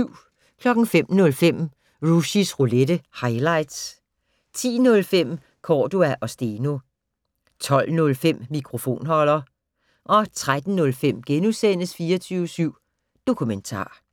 05:05: Rushys Roulette - highlights 10:05: Cordua & Steno 12:05: Mikrofonholder 13:05: 24syv Dokumentar *